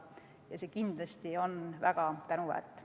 Ja see kindlasti on väga tänuväärt.